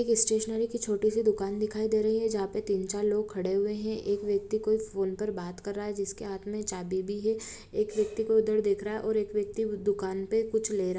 छोटी सी दुकान दिखाई दे रही है जहां पे तीन-चार लोग खड़े हुए हैं एक व्यक्ति को फोन पर बात कर रहा है जिसके हाथ पर चाबी भी है एक व्यक्ति उधर देख रहा है व्यक्ति दुकान पर कुछ ले रहा है।